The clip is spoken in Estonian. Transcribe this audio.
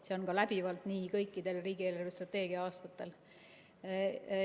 See on läbivalt nii kõikidel riigi eelarvestrateegia aastatel.